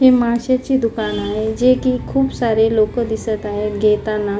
हे माशाचे दुकान आहे जे की खुप सारे लोक दिसत आहे घेताना.